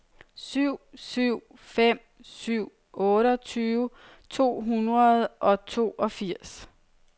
syv syv fem syv otteogtyve to hundrede og toogfirs